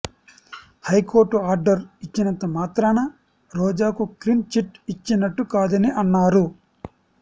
high court order ఇచ్చినంత మాత్రాన రోజాకు క్లీన్ చిట్ ఇచ్చినట్టు కాదని అన్నారు